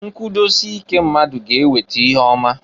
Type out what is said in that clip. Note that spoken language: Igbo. Nkwudosike mmadu ga eweta ihe ọma.